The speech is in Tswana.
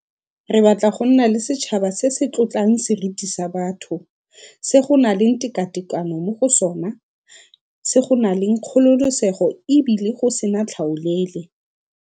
Re batla go nna le setšhaba se se tlotlang seriti sa batho, se go nang le tekatekano mo go sona, se go nang le kgololesego e bile go sena tlhaolele.